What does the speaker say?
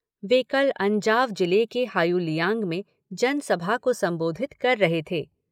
वे कल अंजाव जिले के हायुलियांग में जन सभा को संबोधित कर रहे थे।